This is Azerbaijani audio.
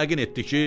Yəqin etdi ki,